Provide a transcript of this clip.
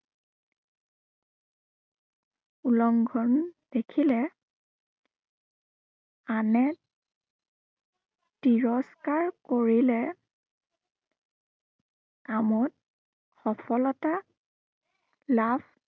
উলংঘন দেখিলে আনে তিৰস্কাৰ কৰিলে কামত, সফলতা লাভ